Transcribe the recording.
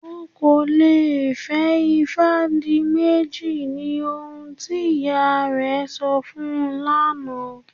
Ọ́ kò lè fẹ́ Ifádìmẹ́jì ní ohun tí ìyá rẹ̀ sọ̀ fún lánà.